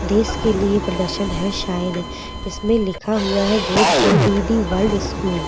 देश के लिए प्रदर्शन है शायद इसमें लिखा हुआ है बोर्ड पर वीडी वर्ल्ड स्कूल ।